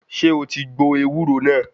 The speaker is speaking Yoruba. Ṣé o ti gbọ ewúro náà?